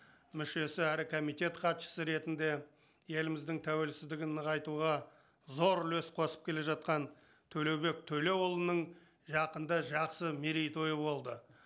мүшесі әрі комитет хатшысы ретінде еліміздің тәуелсіздігін нығайтуға зор үлес қосып келе жатқан төлеубек төлеуұлының жақында жақсы мерейтойы болды